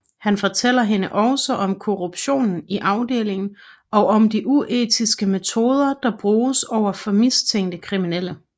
Han fortæller hende også om korruptionen i afdelingen og om de uetiske metoder der bruges over for mistænkte kriminelle